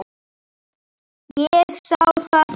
Ég sá það ekki.